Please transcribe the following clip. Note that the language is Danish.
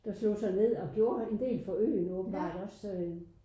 Der slog sig ned og gjorde en del for øen åbenbart også så øh